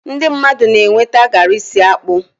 ndị mmadụ na-enweta garri si akpu